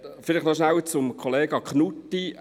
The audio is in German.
Vielleicht noch kurz zu Kollege Knutti